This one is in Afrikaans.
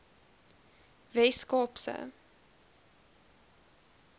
wes kaap se